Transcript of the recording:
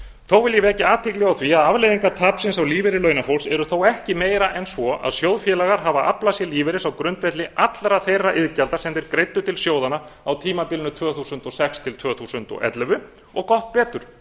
þó vil ég vekja athygli á því að afleiðingar tapsins á lífeyri launafólks eru þó ekki meiri en svo að sjóðfélagar hafa aflað sér lífeyris á grundvelli allra þeirra iðgjalda sem þeir greiddu til sjóðanna á tímabilinu tvö þúsund og sex til tvö þúsund og ellefu og gott betur